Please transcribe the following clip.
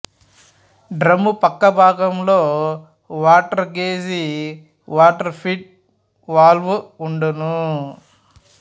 డ్రమ్ముపక్క భాగంలో water gauge water feed valve వుండును